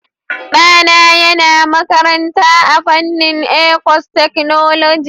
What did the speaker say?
Ɗana yana makaranta a fannin airforcetechnology.